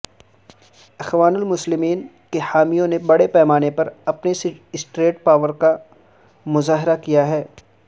اخوان المسلمین کے حامیوں نے بڑے پیمانے پر اپنی سٹریٹ پاور کا مظاہرہ کیا ہے